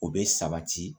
O bɛ sabati